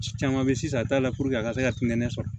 Ci caman be ye sisan a t'a la puruke a ka se ka kunkɛnɛni sɔrɔ